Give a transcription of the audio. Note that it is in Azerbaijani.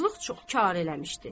Aclıq çox karə eləmişdi.